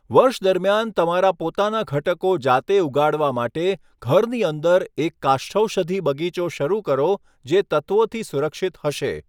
વર્ષ દરમિયાન તમારા પોતાના ઘટકો જાતે ઉગાડવા માટે, ઘરની અંદર એક કાષ્ઠૌષધિ બગીચો શરૂ કરો જે તત્ત્વોથી સુરક્ષિત હશે.